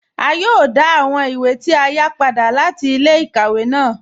À yòò dá àwọn ìwé tí a yá padà láti ilẹ̀-ikàwẹ̀ ná